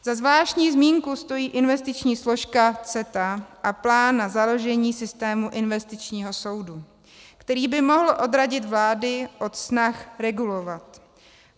Za zvláštní zmínku stojí investiční složka CETA a plán na založení systému investičního soudu, který by mohl odradit vlády od snah regulovat.